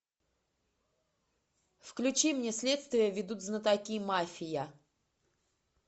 включи мне следствие ведут знатоки мафия